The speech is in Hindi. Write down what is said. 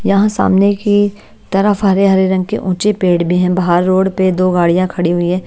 यहाँ सामने की तरफ हरे-हरे रंग के ऊंचे पेड़ भी हैं बाहर रोड पे दो गाड़ियां खड़ी हुई हैं।